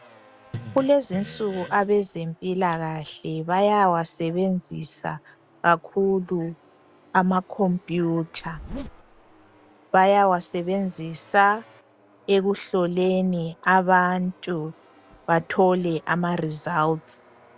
Kulezinsuku abezempilakahle bayawasebenzisa kakhulu amacomputer , bayawasebenzisa ekuhloleni abantu bathole amaresults.